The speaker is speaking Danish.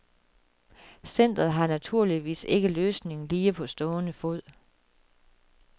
Centret har naturligvis ikke løsningen lige på stående fod.